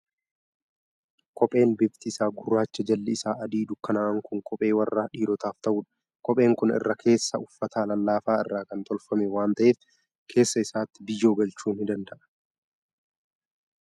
Kopheen bifti isaa gurraacha, jalli isaa adii dukkanaa'aan kun kophee warra dhiirotaaf ta'udha. Kopheen kun irra keessaan uffata lallaafaa irraa kan tolfame waan ta'eef, keessa isaatti biyyoo galchuu ni danda'a.